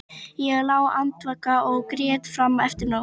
Ég lá andvaka og grét fram eftir nóttu.